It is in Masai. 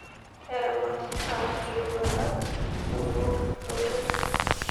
Eramatita iltunga kumok motonyi.